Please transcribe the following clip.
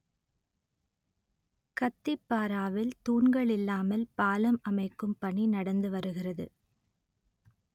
கத்திப்பாராவில் தூண்கள் இல்லாமல் பாலம் அமைக்கும் பணி நடந்து வருகிறது